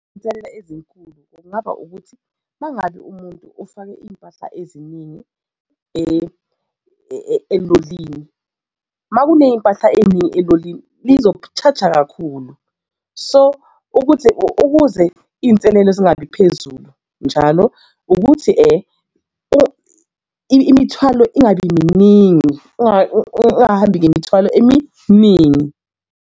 Izinselela ezinkulu kungaba ukuthi uma ngabe umuntu ufake iy'mpahla eziningi elolini, uma kuney'mpahla ey'ningi elolini lizoku-charger kakhulu so ukuthi ukuze iy'nselelo zingabi phezulu njalo ukuthi imithwalo ingabi miningi ungahambi ngemithwalo eminingi.